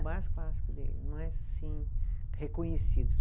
O mais clássico dele, mais assim, reconhecido.